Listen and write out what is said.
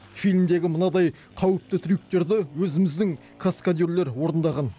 фильмдегі мынадай қауіпті трюктерді өзіміздің каскадерлер орындаған